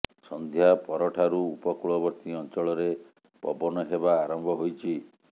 ସନ୍ଧ୍ୟା ପରଠାରୁ ଉପକୂଳବର୍ତ୍ତୀ ଅଞ୍ଚଳରେ ପବନ ହେବା ଆରମ୍ଭ ହୋଇଛି